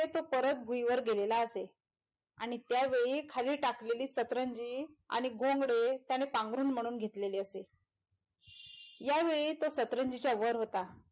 ते तो करत भुईवर गेलेला असे आणि त्यावेळी खाली टाकलेली सतरंजी आणि घोंगडे त्याने पांघरून म्हणून घेतलेले असे यावेळी तो सतरंजीच्या वर होता.